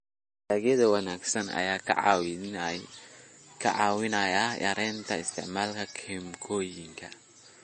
Dalagyada wanaagsan ayaa kaa caawinaya yaraynta isticmaalka kiimikooyinka.